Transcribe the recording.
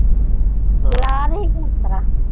ਜਲਾ ਤੀ